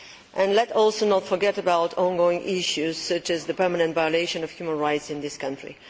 And let us also not forget about ongoing issues, such as the permanent violations of human rights in that country.